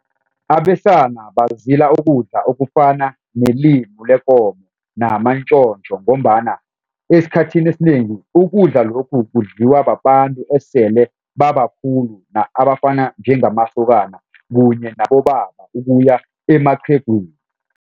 Abesana bazila ukudla okufana nelimu lekomo namantjotjo ngombana esikhathini esinengi ukudla lokhu kudliwa babantu esele babakhulu abafana njengamasokana kunye nabobaba ukuya emaqhegwini.